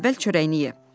Əvvəl çörəyini ye.